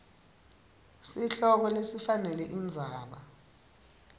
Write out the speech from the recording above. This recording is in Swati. sihloko lesifanele indzaba